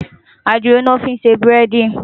Àdìrò lò fin sé búrèdí